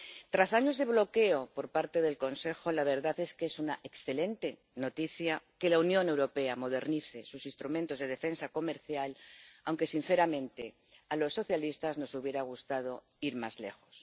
Tras años de bloqueo por parte del Consejo, la verdad es que es una excelente noticia que la Unión Europea modernice sus instrumentos de defensa comercial, aunque sinceramente, a los socialistas nos hubiera gustado ir más lejos.